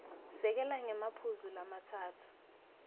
sekela ngemaphuzu lamatsatfu